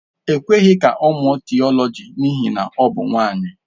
E kweghị ka ọ mụọ Theology n'ihi na ọ bụ nwanyị.